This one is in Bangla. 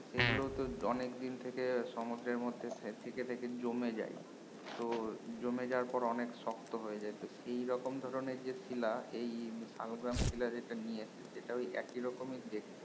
আহ সেগুলোতো অনেক দিন থেকে সমুদ্রের মধ্যে থেকে থেকে জমে যায় তো জমে যাওয়ার পরে অনেক শক্ত হয়ে যায় তো সেই রকম ধরনের যে শিলা এই শালগ্রামশিলা যেটা নিয়ে এসেছে সেটা ঐ একি রকমি দেখতে